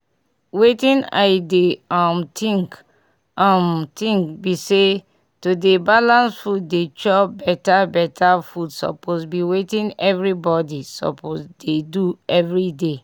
wetin i dey um think um think bi say to dey balance food dey chow beta beta food suppose bi wetin everybody suppose dey do everyday